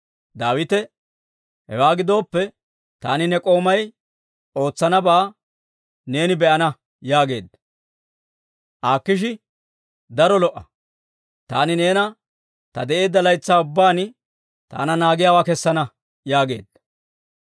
Daawite, «Hewaa gidooppe, taani ne k'oomay ootsanabaa neeni be'ana» yaageedda. Akiishi, «Daro lo"a; taani neena ta de'eedda laytsaa ubbaan taana naagiyaawaa kessana» yaageedda.